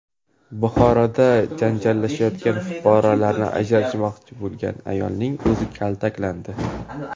Buxoroda janjallashayotgan fuqarolarni ajratmoqchi bo‘lgan ayolning o‘zi kaltaklandi.